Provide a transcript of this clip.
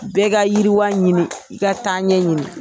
Bɛɛ ka yiriwa ɲini i ka taaɲɛ ɲini.